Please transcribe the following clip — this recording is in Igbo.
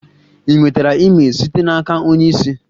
Ị nwetara email site n'aka onye isi?